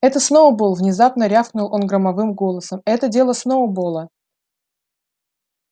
это сноуболл внезапно рявкнул он громовым голосом это дело сноуболла